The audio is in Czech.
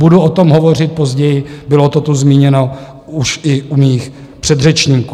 Budu o tom hovořit později - bylo to tu zmíněno už i u mých předřečníků.